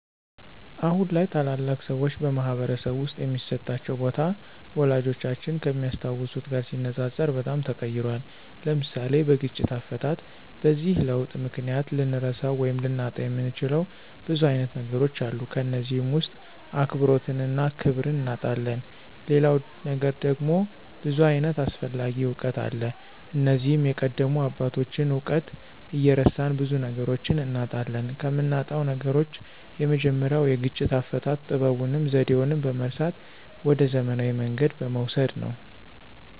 አሁን ላይ ታላላቅ ሰዎች በማኅበረሰብ ውስጥ የሚሰጣቸው ቦታ፣ ወላጆቻችን ከሚያስታውሱት ጋር ሲነጻጸር በጣም ተቀይሯል። (ለምሳሌ፦ በግጭት አፈታት) በዚህ ለውጥ ምክንያት ልንረሳው ወይም ልናጣው የምንችለው ብዙ አይነት ነገሮች አሉ ከነዚህም ውስጥ አክብሮትንና ክብርን እናጣለን ሌላው ነገር ደግሞ ብዙ ዓይነት አስፈላጊ እውቀት አለ እነዚህም የቀደሙ አባቶችን እውቀት እየረሳን ብዙ ነገሮችን እናጣለን። ከምናጣው ነገሮች የመጀመሪያው የግጭት አፈታት ጥበቡንና ዘዴውን በመርሳት ወደ ዘመናዊ መንገድ በመውሰድ ነው።